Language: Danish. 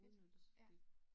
Fedt. Ja